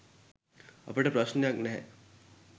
අපට ප්‍රශ්නයක් නැහැ